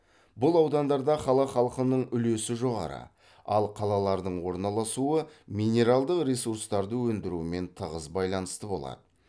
бұл аудандарда қала халқының үлесі жоғары ал қалалардың орналасуы минералдық ресурстарды өндірумен тығыз байланысты болады